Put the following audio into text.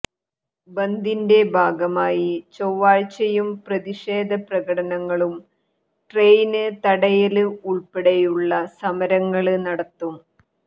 ബന്ദിന്റെ ഭാഗമായി ചൊവ്വാഴ്ചയും പ്രതിഷേധപ്രകടനങ്ങളും ട്രെയിന് തടയല് ഉള്പ്പെടെയുള്ള സമരങ്ങള് നടത്തും